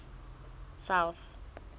south